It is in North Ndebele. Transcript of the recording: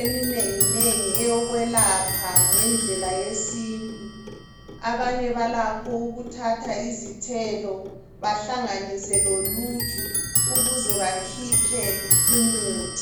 eminenginengi eyokwelapha ngendlela yesintu. Abanye balakho ukuthatha izithelo bahlanginise loluju ukuze bakhiphe umuthi.